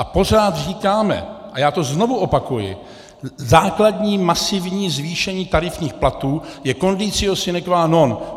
A pořád říkáme, a já to znovu opakuji, základní masivní zvýšení tarifních platů je conditio sine qua non.